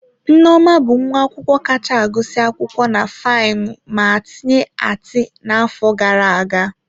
Nneoma bụ nwa akwụkwọ kacha agụsị akwụkwọ na fainu ma tinye ati n'afọ gara aga.